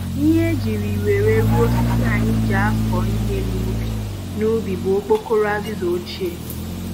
Ihe e jiri wéré rụọ osisi anyị ji akụ ihe n'ubi n'ubi bụ okpokoro azịza ochie